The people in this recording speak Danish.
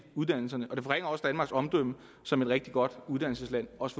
uddannelserne og det forringer også danmarks omdømme som et rigtig godt uddannelsesland også